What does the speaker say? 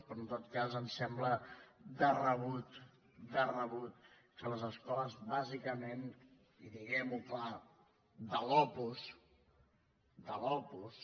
però en tot cas ens sembla de rebut de rebut que les escoles bàsicament i diguemho clar de l’opus de l’opus